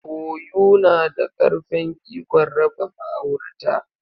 Koyu na da karfen ikon raba ma'aurata.